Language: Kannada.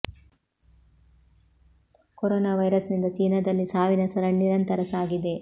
ಕೊರೊನಾ ವೈರಸ್ ನಿಂದ ಚೀನಾ ದಲ್ಲಿ ಸಾವಿನ ಸರಣಿ ನಿರಂತರ ಸಾಗಿದೆ